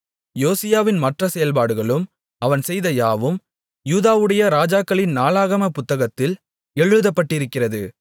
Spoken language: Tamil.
யோசியாவின் மற்ற செயல்பாடுகளும் அவன் செய்த யாவும் யூதாவுடைய ராஜாக்களின் நாளாகமப் புத்தகத்தில் எழுதப்பட்டிருக்கிறது